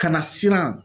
Ka na siran